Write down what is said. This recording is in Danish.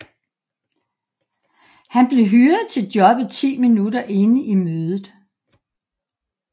Han blev hyret til jobbet 10 minutter inde i mødet